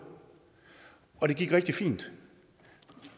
og det gik rigtig fint i